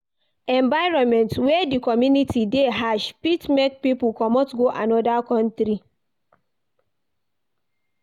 Environment wey di economy de harsh fit make pipo comot go another country